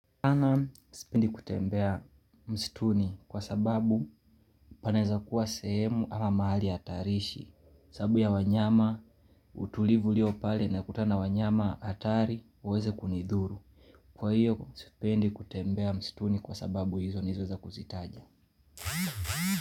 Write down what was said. Ana sipendi kutembea mstuni kwa sababu panaweza kua sehemu ama mahali hatarishi sababu ya wanyama utulivu ulio pale nakutana wanyama hatari waweze kunidhuru Kwa hiyo sipendi kutembea msituni kwa sababu hizo nizo za kuzitaja.